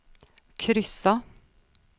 kryssa